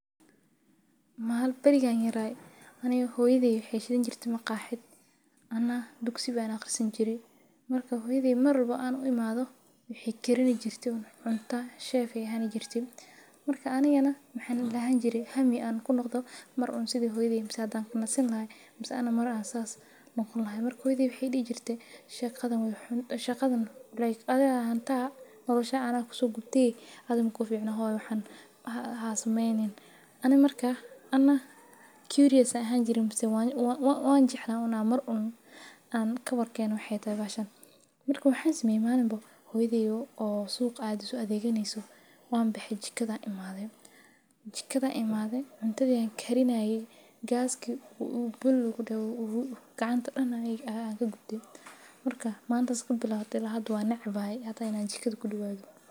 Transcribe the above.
maal barigaan yeraa anna hooyaday xeesheena jirti ma qaaxid. Annaa dugsi baana qarsan jiray. Markaa hooyadee mar rabo aan u imaadho wixii karin jirte cuntaa sheey ficaan jirtay. Markaa aanayanna maxaan lahan jiray hami an ku noqdo mar un sidii hooyadeena sadaan ku nasin lahayn masee aan amar asas nuqun lahayn. Markuu hooyadee wixii dhiig jirtay shakadan wuxuu shaqadan leeyahay. adi hanta nolosha aanaku so gubdii aadamku ficno hooyo waxan hasameeynin anna markaa anna kibriyaysa ahaan jirin waan waa waan jecno una mar un aan ka warkeen waxxeeya taagaashan. Markuu waxaanu sameyn maalinbo hoydeyo oo suuqa aadisu adeeganeysu. Waan bixi jikada imaaday. Jikada imaaday cuntadii aan karin ayay gas kii u bul ugu dhaw gacanta dhacna ayay aagga gubdi markaa maanta seku bilaa ila ahaad waa necba hay hata inaa jikadu ku dhawaaday.